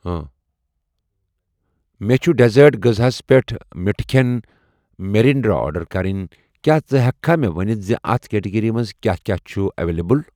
مےٚ چھ ڈیسرٹ غٕزہَس پیٚٹھ مِٹھٕ کھیٚن, میرینیڈز آرڈر کرٕنۍ، کیٛاہ ژٕ ہٮ۪کہٕ مےٚ ونِتھ اَتھ کیٹگری منٛز کیٛاہ کیٛاہ چھ اویلیبل